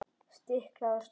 Stiklað á stóru